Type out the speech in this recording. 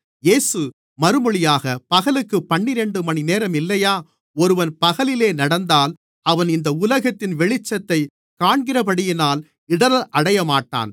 இயேசு மறுமொழியாக பகலுக்குப் பன்னிரண்டு மணிநேரம் இல்லையா ஒருவன் பகலிலே நடந்தால் அவன் இந்த உலகத்தின் வெளிச்சத்தைக் காண்கிறபடியினால் இடறல் அடையமாட்டான்